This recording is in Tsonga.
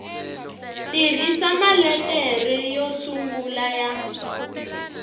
tirhisa maletere yo sungula ya